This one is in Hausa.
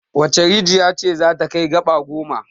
Wace rijiya ce za ta kai gaba goma?